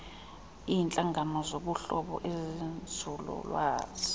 iintlangano zobuhlobo ezenzululwazi